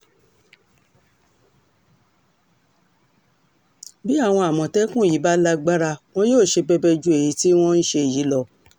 bí àwọn àmọ̀tẹ́kùn yí bá lágbára wọn yóò ṣe bẹbẹ ju èyí tí wọ́n ń ṣe yìí lọ